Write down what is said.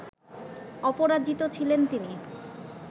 অপরাজিত ছিলেন তিনি